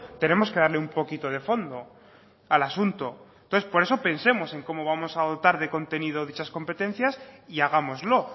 tenemos que darle un poquito de fondo al asunto entonces por eso pensemos en cómo vamos a dotar de contenido dichas competencias y hagámoslo